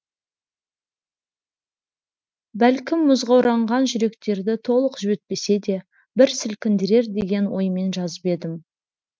бәлкім мұзға оранған жүректерді толық жібітпесе де бір сілкіндірер деген оймен жазып едім